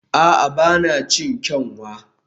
a'a, ba na cin kyanwa